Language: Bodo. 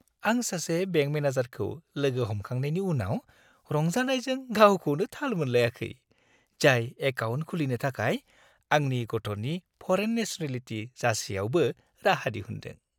आं सासे बेंक मेनेजारखौ लोगो हमखांनायनि उनाव रंजानायजों गावखौनो थाल मोनलायाखै, जाय एकाउन्ट खुलिनो थाखाय आंनि गथ'नि फरेन नेसनेलिटि जासेयावबो राहा दिहुन्दों।